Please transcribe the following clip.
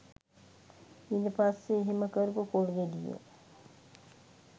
ඊට පස්සේ එහෙම කරපු පොල් ගෙඩිය